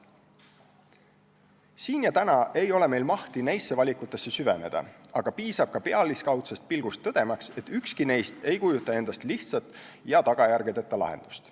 Siin ja praegu ei ole meil mahti neisse valikutesse süveneda, aga piisab ka pealiskaudsest pilgust, tõdemaks, et ükski neist ei kujuta endast lihtsat ega tagajärgedeta lahendust.